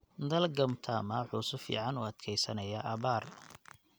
Dalagga mtama wuxuu si fiican u adkeysanayaa abaar.